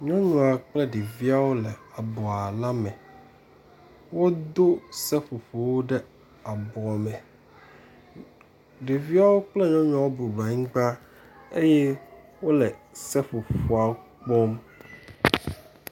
Nyɔnua kple ɖeviawo le abɔa la me. Wodo seƒoƒowo ɖe abɔ me. Ɖeviawo kple nyɔnuawo bɔbɔ nɔ anyi ɖe anyigba eye wole seƒoƒoa kpɔm.